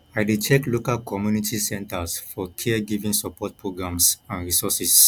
i dey check local community centers for caregiving support programs and resources